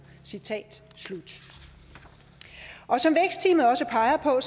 citat slut som vækstteamet også peger på er